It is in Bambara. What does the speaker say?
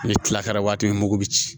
Ni tila kɛra waati min ye i m'o bɛ ci